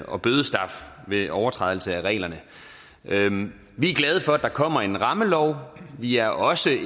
og bødestraf ved overtrædelse af reglerne reglerne vi er glade for at der kommer en rammelov vi er også